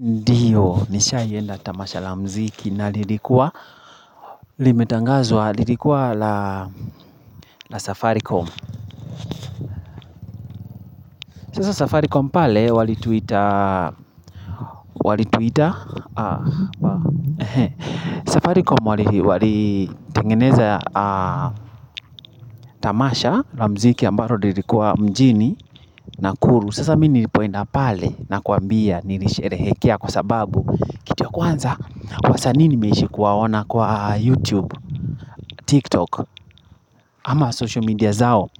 Ndiyo, nisha ienda tamasha la mziki na lilikuwa limetangazwa lilikuwa la la Safaricom. Sasa Safaricom pale walituita walituita. Safaricom wali walitengeneza. Tamasha la mziki ambalo lilikuwa mjini Nakuru. Sasa mimi nilipoenda pale na kuambia nilisherehekea kwa sababu kitu ya kwanza, wasanii nimeishi kuwaona kwa YouTube, TikTok, ama social media zao.